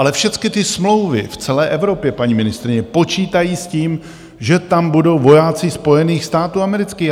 Ale všecky ty smlouvy v celé Evropě, paní ministryně, počítají s tím, že tam budou vojáci Spojených států amerických.